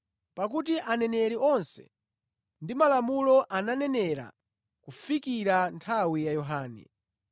Pakuti aneneri onse ndi malamulo ananenera kufikira nthawi ya Yohane.